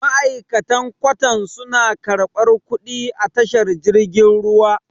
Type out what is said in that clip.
ma'aikatan kwatan suna karɓar kuɗi a tashar jirgin ruwa